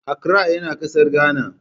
Accra yana kasar Ghana.